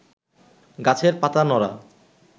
গাছের পাতা নড়া